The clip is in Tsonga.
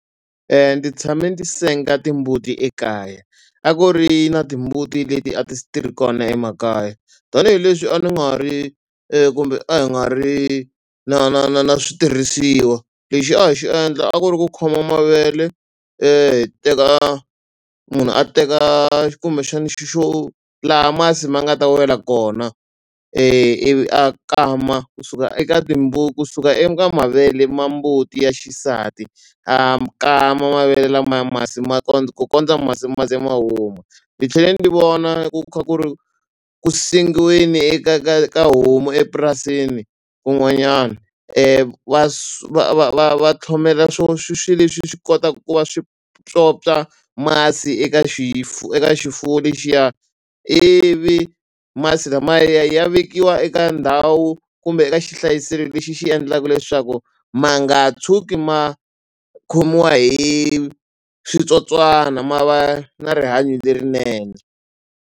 Ndzi tshame ni ti senga timbuti ekaya a ku ri na timbuti leti a ti ti ri kona emakaya tanihileswi a ni nga ri kumbe a hi nga ri na na na na switirhisiwa lexi a hi xi endla a ku ri ku khoma mavele hi teka munhu a teka kumbexani xi xo laha masi ma nga ta wela kona ivi a kama kusuka eka kusuka eka mavele ma mbuti ya xisati a kama mavele lamaya masi ma kondza ku kondza masi ma ze ma huma ni tlhele ni vona ku kha ku ri ku sengiweni eka ka ka homu epurasini kun'wanyana va va va va tlhomela swo swi swi leswi swi kota ku va swi pyopya masi eka eka xifuwo lexiya ivi masi lamaya ya ya vekiwa eka ndhawu kumbe eka xihlayisele lexi xi endlaku leswaku ma nga tshuki ma khomiwa hi switsotswana ma va na rihanyo lerinene.